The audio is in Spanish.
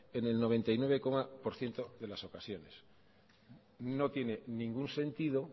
en el noventa y nueve por ciento de las ocasiones no tiene ningún sentido